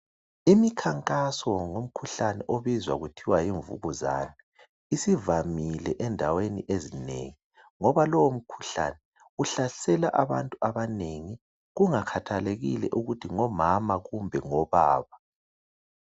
Imikhankaso ngomkhuhlane obizwa kuthiwa yimvukuzane .Isivamile endaweni ezinengi ngoba lomkhuhlane uhlasela abantu abanengi kungakhathalekile ukuthi ngomama kumbe obaba.